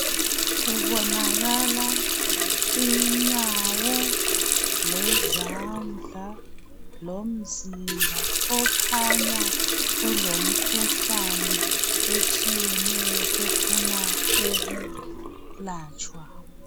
Kubonakala inyawo lezandla lomzimba okhanya kelemikhuhlane etshiyetshiyeneyo efuna ukulatshwa